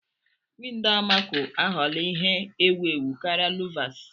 Windọ amako aghọla ihe ewu ewu karịa luvas.